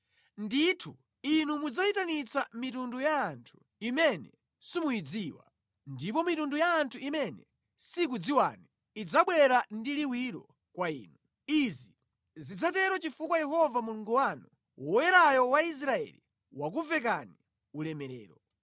Ndithu inu mudzayitanitsa mitundu ya anthu imene simuyidziwa, ndipo mitundu ya anthu imene sikudziwani idzabwera ndi liwiro kwa inu. Izi zidzatero chifukwa Yehova Mulungu wanu, Woyerayo wa Israeli, wakuvekani ulemerero.”